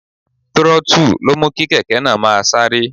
Throttle ló mú kí kèké náà máa sáré.